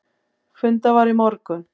Fundað var í morgun.